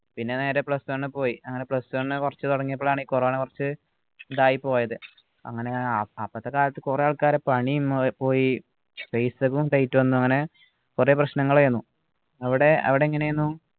പിന്നെ നേരെ plus one പോയി അങ്ങനെ plus one കുറച്ച് തുടങ്ങിയപ്പോളാണ് ഈ corona കൊറച്ചു ഇതായിപോയത് അങ്ങനെ അപ്പത്ത കാലത്തു കുറെ ആൾക്കാരെ പണിയും പോയി paisa യ്ക്കും tight വന്ന് അങ്ങനെ കുറേ പ്രശ്നങ്ങൾ ഏനു അവിടെ അവിടെ എങ്ങനെയെന്നു